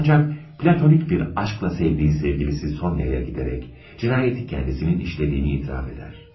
Ancak platonik bir aşkla sevdiği sevgilisi Sonya'ya giderek cinayeti kendisinin işlediğini itiraf eder.